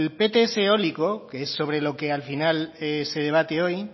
pts eólico que es sobre lo que al final se debate hoy